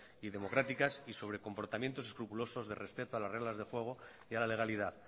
y democráticas y sobre comportamientos escrupulosos respecto a las reglas del juego y a la legalidad